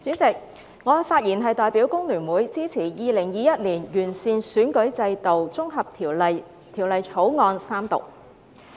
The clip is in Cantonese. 主席，我代表香港工會聯合會發言支持《2021年完善選舉制度條例草案》三讀。